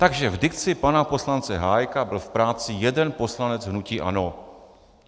Takže v dikci pana poslance Hájka byl v práci jeden poslanec hnutí ANO.